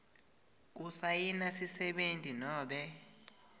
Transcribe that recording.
kusayina sisebenti nobe